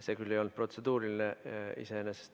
See küll ei olnud iseenesest protseduuriline.